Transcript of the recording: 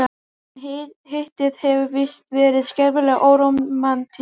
En Hittið hefur víst verið skelfilega órómantískt.